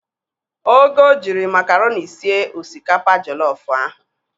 Ogo jịrị makaroni sie osikapa jollof ahụ